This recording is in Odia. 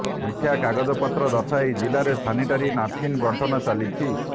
ମିଥ୍ୟା କାଗଜପତ୍ର ଦର୍ଶାଇ ଜିଲାରେ ସାନିଟାରୀ ନାପକିନ୍ ବଣ୍ଟନ ଚାଲିଛି